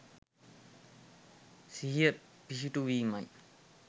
සිහිය පිහිටුවීමයි.